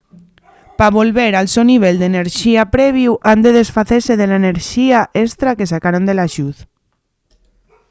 pa volver al so nivel d’enerxía previu han de desfacese de la enerxía estra que sacaron de la lluz